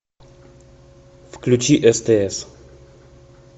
включи стс